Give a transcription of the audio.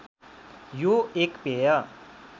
यो एक पेय